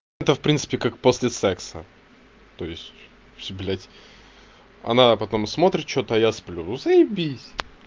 это в принципе как после секса то есть всё блять она потом смотрит что-то я сплю заебись